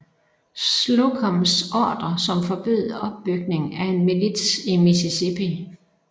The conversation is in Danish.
Slocums ordre som forbød opbygning af en milits i Mississippi